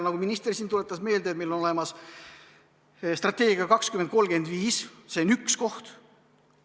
Nagu minister siin meelde tuletas, meil on olemas strateegia "Eesti 2035", see on üks selline koht.